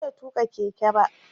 Ban iya tuƙa keke ba.